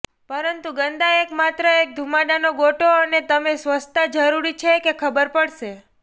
પરંતુ ગંદા એક માત્ર એક ધુમાડાનો ગોટો અને તમે સ્વચ્છતા જરૂરી છે કે ખબર પડશે